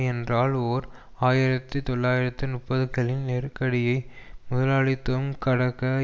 என்றால் ஓர் ஆயிரத்தி தொள்ளாயிரத்து நுப்பதுகளின் நெருக்கடியை முதலாளித்துவம் கடக்க